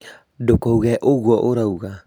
ndũkauge ũguo ũrauga